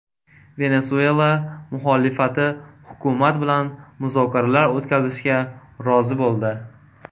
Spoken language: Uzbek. Venesuela muxolifati hukumat bilan muzokaralar o‘tkazishga rozi bo‘ldi.